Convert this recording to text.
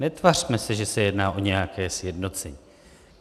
Netvařme se, že se jedná o nějaké sjednocení.